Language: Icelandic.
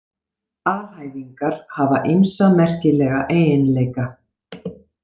Alhæfingar hafa ýmsa merkilega eiginleika.